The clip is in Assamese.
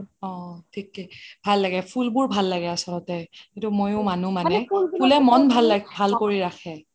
অহ থিকেই ভাল লাগে ফুলবোৰ ভাল লাগে আচলতে সেইটো মইও মানো মানে মন ভাল কৰি ৰাখে